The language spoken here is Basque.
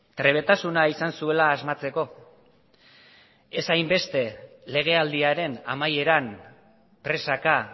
trebetasuna izan zuela asmatzeko ez hainbeste legealdiaren amaieran presaka